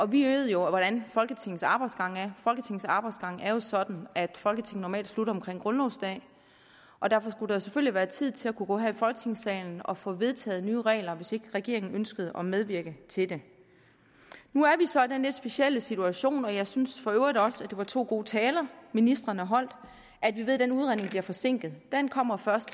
vi ved jo hvordan folketingets arbejdsgang er folketingets arbejdsgang er jo sådan at folketinget normalt slutter omkring grundlovsdag og derfor skulle der selvfølgelig være tid til at kunne gå her i folketingssalen og få vedtaget nye regler hvis ikke regeringen ønskede at medvirke til det nu er vi så i den lidt specielle situation og jeg synes for øvrigt også at det var to gode taler ministrene holdt at vi ved at den udredning bliver forsinket den kommer først